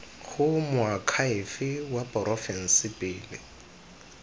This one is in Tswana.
go moakhaefe wa porofense pele